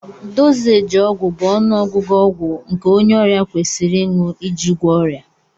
Dozééji ọgwụ bụ ọnụọgụ ọgwụ nke onye ọrịa kwesịrị ịṅụ iji gwọọ ọrịa